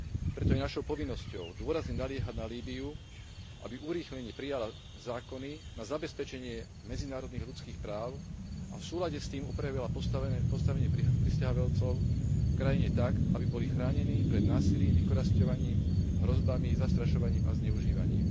Preto je našou povinnosťou dôrazne naliehať na Líbyu, aby urýchlene prijala zákony na zabezpečenie medzinárodných ľudských práv a v súlade s tým upravila postavenie prisťahovalcov v krajine tak, aby boli chránení pred násilím, vykorisťovaním, hrozbami, zastrašovaním a zneužívaním.